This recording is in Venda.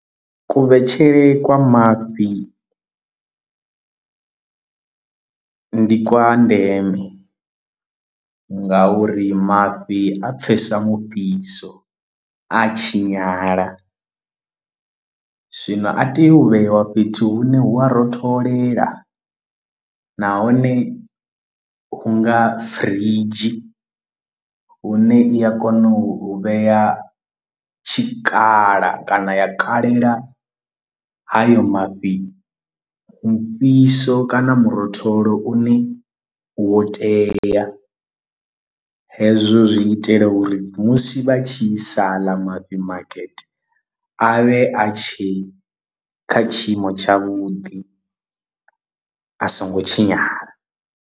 Kuvhetshele kwa mafhi ndi kwa ndeme nga uri mafhi a pfesa mufhiso a tshinyala zwino a teya u vheyiwa fhethu hune hu a rotholela nahone hu nga firidzhi hune i a kona u vhea tshikhala kana ya kalela hayo mafhi mufhiso kana murotholo u ne wo tea hezwo zwi itela uri musi vha tshi isa haḽa mafhi makete a vhe a tshe kha tshiimo tshavhuḓi a songo tshinyala.